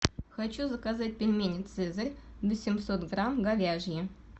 хочу заказать пельмени цезарь восемьсот грамм говяжьи